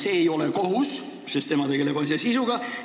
See ei ole kohus, sest tema tegeleb asja sisuga.